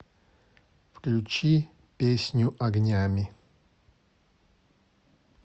включи песню огнями